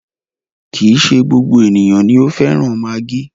Kì í ṣe gbogbo ènìyàn ni o fẹ́ràn maggi.